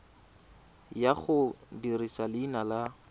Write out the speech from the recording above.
ya go dirisa leina la